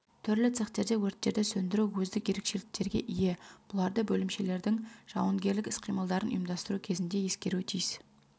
түрлі цехтерде өрттерді сөндіру өздік ерекшеліктерге ие бұларды бөлімшелердің жауынгерлік іс-қимылдарын ұйымдастыру кезінде ескеруі тиіс